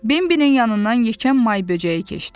Bembini yanından yekən may böcəyi keçdi.